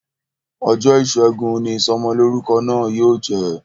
Ọjọ́ ìṣẹ́gun ni Ìsọmọlọ́rúkọ náà yóò jẹ